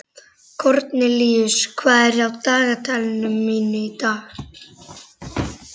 Kornelíus, hvað er á dagatalinu mínu í dag?